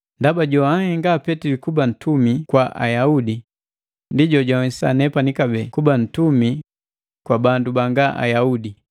Ndaba joanhenga Petili kuba ntumi kwa Ayaudi, ndi jojanwesisa nepani kabee kuba nuntumi kwa bandu banga Ayaudi.